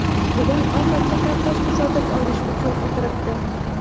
bugun ovqatiga kartoshka sotib olish uchun o‘tiribdi.